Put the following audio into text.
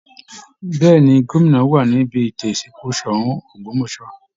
Bẹ́ẹ̀ ni, gómìnà wà níbi ètò ìsìnkú Ṣọ̀ún Ògbómọ̀ṣọ́